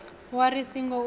wa ri singo u a